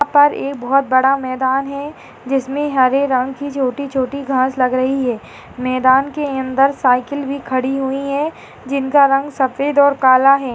यहां पर एक बहुत बड़ा मैदान है जिसमें हरे रंग की छोटी-छोटी घास लग रही है। मैदान के अंदर साइकिल भी खड़ी हुई है जिनका रंग सफेद और काला है।